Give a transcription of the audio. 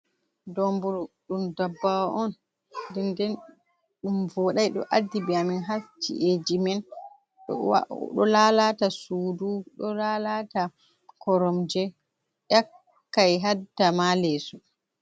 Domburu ɗum dabbawa on, den den ɗum voɗai ɗo addibi amin ha ci'eji men, ɗo lalata sudu ɗo lalata koromje, yakkai hadda ma leeso.